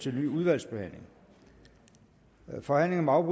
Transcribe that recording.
til en ny udvalgsbehandling forhandlingen om